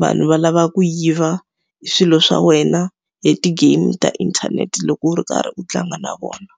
vanhu va lava ku yiva swilo swa wena hi ti-game ta inthanete loko u ri karhi u tlanga na vona.